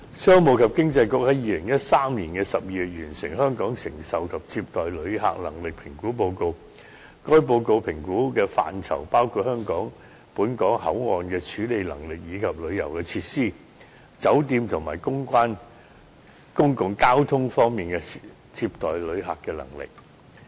商務及經濟發展局在2013年12月完成《香港承受及接待旅客能力評估報告》，該報告評估的範疇包括本港口岸處理能力，以及旅遊設施、酒店及公共交通等方面的接待旅客的能力。